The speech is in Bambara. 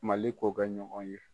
Mali k'o ka ɲɔgɔn ye.